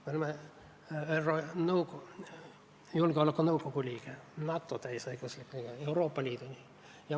Me oleme ÜRO Julgeolekunõukogu liige, NATO täieõiguslik liige, Euroopa Liidu liige.